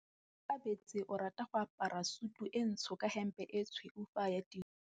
Onkabetse o rata go apara sutu e ntsho ka hempe e tshweu fa a ya tirong.